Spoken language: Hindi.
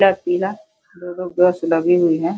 ल पीला दो-दो बस लगी हुई हैं।